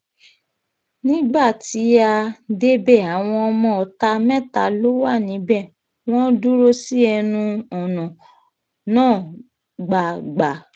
nígbà tí a um débẹ̀ àwọn ọmọọ̀ta mẹ́ta ló wà níbẹ̀ wọ́n dúró sí ẹnu um ọ̀nà náà gbàgbà